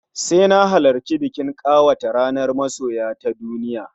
Sai na halarci bikin ƙawata ranar Masoya ta duniya